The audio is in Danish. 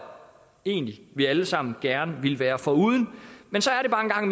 egentlig at vi alle sammen gerne vil være foruden men så er det bare